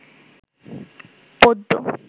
পদ্ম